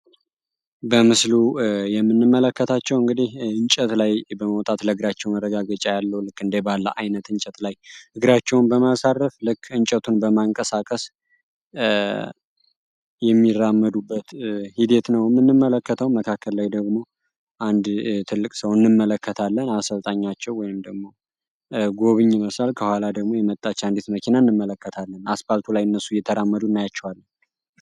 በምስሉ የምንመለከታቸው እንግዲህ አንጨት ላይ በመዉጣት ለግራቸው መረጋገጫ ያለው ልክ እንደ ባላ አይነት ያለው እንጨት ላይ እግራቸውን በማሳረፍ ልክ እጨቱን በማንቀሳቀስ የሚራመዱበት ሂደት ነው ምንመለከተው መካከል ላይ ደግሞ አንድ ነለቅ ሰው አንመለከታለን አሰልጣኛቸው ወይም ደግሞ ጎበኝ ሚመስል ከኋላ ደግሞ የመጣች አንዲት መኪና እነመለከታለን አስፓልቱ ላየ እነሱ እየተራመዱ እናያቸዋለን።